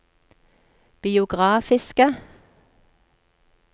biografiske